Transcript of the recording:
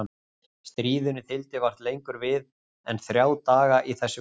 stríðinu þyldi vart lengur við en þrjá daga í þessu greni.